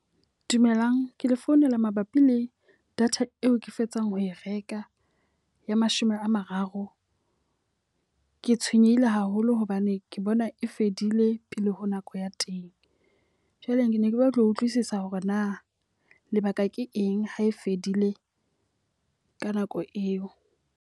Dumelang, ke le founela mabapi le data eo ke fetsang ho e reka ya mashome a mararo. Ke tshwenyehile haholo hobane ke bona e e fedile pele ho nako ya teng. Jwale ke ne ke batla ho utlwisisa hore na lebaka ke eng ha e fedile ka nako eo?